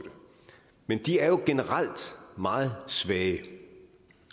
men de er jo generelt meget svage